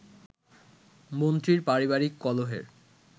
মন্ত্রীর পারিবারিক কলহের